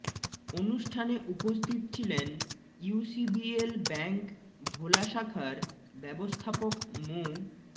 অনুষ্ঠানে উপস্থিত ছিলেন ইউসিবিএল ব্যাংক ভোলা শাখার ব্যবস্থাপক মো